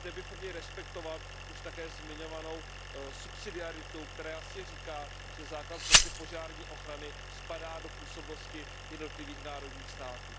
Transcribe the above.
Zde bychom měli respektovat už také zmiňovanou subsidiaritu, která jasně říká, že základ protipožární ochrany spadá do působnosti jednotlivých národních států.